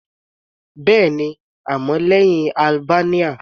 Bẹ́ẹ̀ni, àmọ́ lẹ́hìn Albanian.